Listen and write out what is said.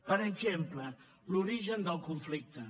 per exemple l’origen del conflicte